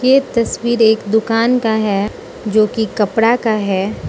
ये तस्वीर एक दुकान का है जो कि कपड़ा का है।